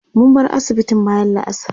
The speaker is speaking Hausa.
mun bar asibitin bayan la'asar